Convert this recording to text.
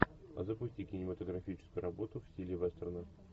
запусти кинематографическую работу в стиле вестерна